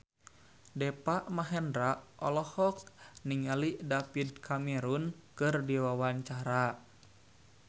Deva Mahendra olohok ningali David Cameron keur diwawancara